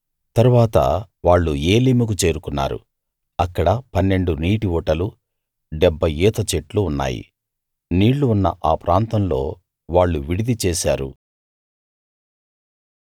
తరువాత వాళ్ళు ఏలీముకు చేరుకున్నారు అక్కడ పన్నెండు నీటి ఊటలు డెబ్భై ఈత చెట్లు ఉన్నాయి నీళ్ళు ఉన్న ఆ ప్రాంతంలో వాళ్ళు విడిది చేశారు